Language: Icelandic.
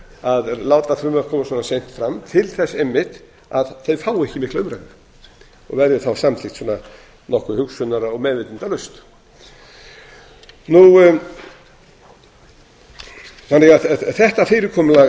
að láta frumvörp koma svona seint fram til þess einmitt að þau fái ekki mikla umræðu og verði þá samþykkt svona nokkuð hugsunar og meðvitundarlaust þetta fyrirkomulag